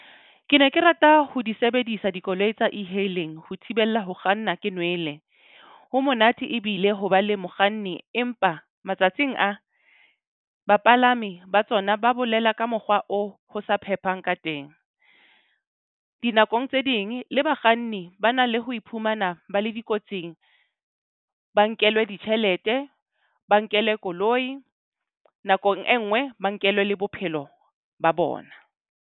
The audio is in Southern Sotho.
Ke ne ke rata ho di sebedisa dikoloi tsa E-hailing ho thibella ho kganna ke nwele. Ho monate ebile ho ba le mokganni empa matsatsing a bapalami, ba tsona ba bolela ka mokgwa o ho sa phehang ka teng. Dinakong tse ding le bakganni ba na le ho iphumana ba le dikotsing, ba nkelwa ditjhelete, ba nkele koloi nakong e nngwe, ba nkelwe le bophelo ba bona.